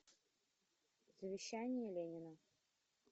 завещание ленина